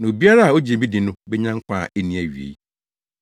na obiara a ogye me di no benya nkwa a enni awiei.